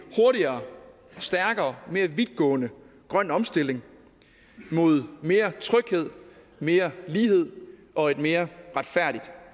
hurtigere stærkere og mere vidtgående grøn omstilling mod mere tryghed mere lighed og et mere retfærdigt